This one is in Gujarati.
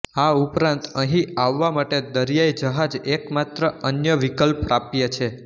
આ ઉપરાંત અહીં આવવા માટે દરિયાઇ જહાજ એકમાત્ર અન્ય વિકલ્પ પ્રાપ્ય છે